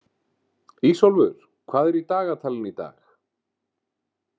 Ísólfur, hvað er í dagatalinu í dag?